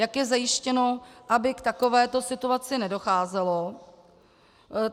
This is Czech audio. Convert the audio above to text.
Jak je zajištěno, aby k takovéto situaci nedocházelo?